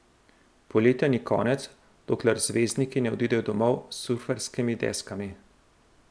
Poletja ni konec, dokler zvezdniki ne odidejo domov s surferskimi deskami.